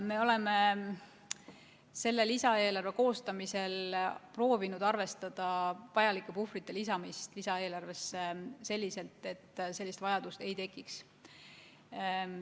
Me oleme selle lisaeelarve koostamisel proovinud arvestada vajalike puhvrite lisamist selliselt, et sellist vajadust ei tekiks.